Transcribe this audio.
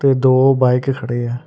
ਦੋ ਬਾਈਕ ਖੜੇ ਆ।